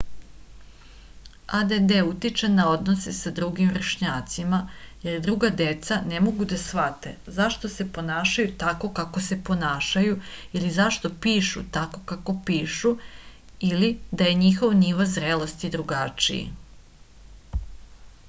add utiče na odnose sa drugim vršnjacima jer druga deca ne mogu da shvate zašto se ponašaju tako kako se ponašaju ili zašto pišu tako kako pišu ili da je njihov nivo zrelosti drugačiji